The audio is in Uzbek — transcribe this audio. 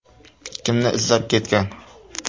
Kimni izlab ketgan?